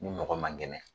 Ni mɔgɔ man kɛnɛ